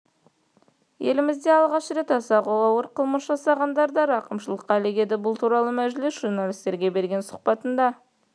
елімізде алғаш рет аса ауыр қылмыс жасағандар да рақымшылыққа ілігеді бұл туралы мәжілісте журналистерге берген сұхбатында